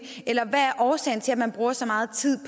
eller hvad er årsagen til at man bruger så meget tid